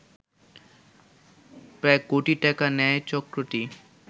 প্রায় কোটি টাকা নেয় চক্রটি